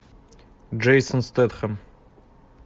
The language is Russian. джейсон стэтхэм